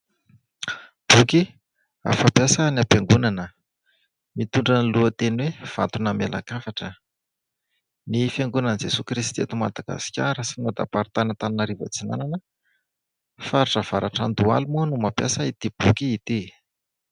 Boky fampiasa ny am-piangonana mitondra ny lohateny hoe vato namelan-kafatra, ny Fiangonan'i Jesoa Kristy eto Madagasikara sinodam-paritany Antaninarivo atsinanana faritra avaratr'Andohalo moa no mampiasa ity boky ity.